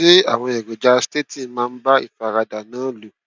ṣé àwọn èròjà statin máa ń bá ìfaradà náà lò